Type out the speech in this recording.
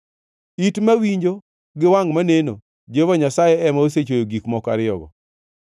It mawinjo gi wangʼ maneno, Jehova Nyasaye ema osechweyo gik moko ariyogo.